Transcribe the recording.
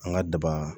An ka daba